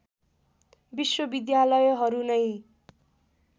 विश्वविद्यालयहरू नै